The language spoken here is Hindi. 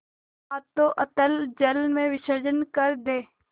हाथों अतल जल में विसर्जन कर दे